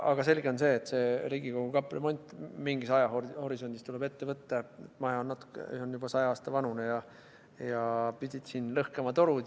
Aga selge on see, et Riigikogu kapremont mingis ajahorisondis tuleb ette võtta, maja on juba 100 aasta vanune ja siin pidid torud lõhkema.